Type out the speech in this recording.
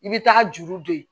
I bɛ taa juru don yen